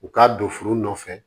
U k'a don foro nɔfɛ